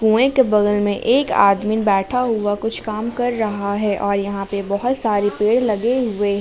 कुएं के बगल मे एक आदमी बैठा हुआ कुछ काम कर रहा है और यहां पे बहोत सारे पेड़ लगे हुए हैं।